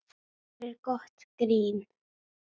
Gerir gott grín.